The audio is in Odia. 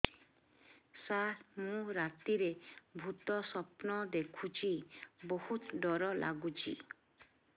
ସାର ମୁ ରାତିରେ ଭୁତ ସ୍ୱପ୍ନ ଦେଖୁଚି ବହୁତ ଡର ଲାଗୁଚି